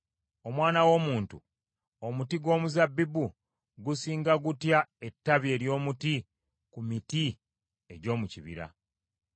“Omwana w’omuntu, omuti gw’omuzabbibu gusinga gutya ettabi ery’omuti ku miti egy’omu kibira?